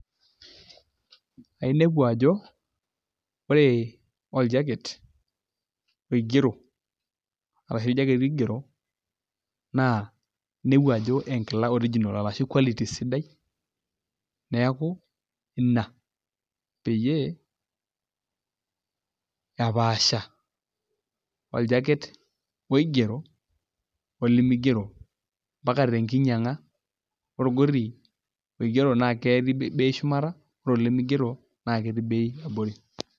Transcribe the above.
Ainepu ajo ore oljaket oigero arashu oljaketi oigero naa inepu ajo enkila original arashu quality sidai neeku ina peyie epaasha oljaket oigero olemeigero mbaka tenkinyianga olgoti oigero naa ketii bei shumata ore olemeigero naa ketii bei abori.